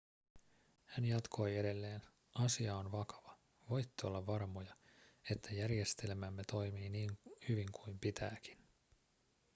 hän jatkoi edelleen asia on vakava voitte olla varmoja että järjestelmämme toimii niin hyvin kuin pitääkin